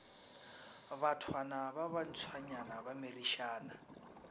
bathwana ba bantshwanyana ba merišana